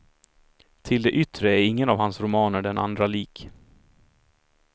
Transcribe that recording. Till det yttre är ingen av hans romaner den andra lik.